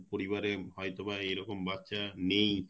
পরিবারে হয়তো বা এরকম বাচ্চা নেই